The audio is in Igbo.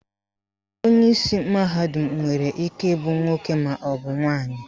Onyeisi mahadum nwere ike ịbụ nwoke maọbụ nwaanyị